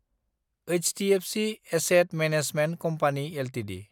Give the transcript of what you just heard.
HDFC asset management company Ltd